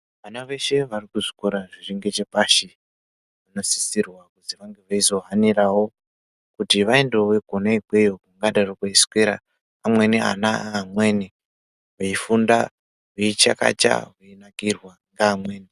Vana veshe vari kuzvikora zviri ngechepashi vanosisirwa kuti vazohanirawo kuti vaendewo kune ikweyo kwavanoita zvokuswera vamweni vana vamweni veifunda veichakacha veinakirwa neamweni.